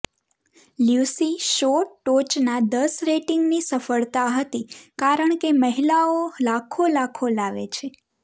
Lucy show ટોચના દસ રેટિંગની સફળતા હતી કારણ કે મહિલાઓ લાખો લાખો લાવે છે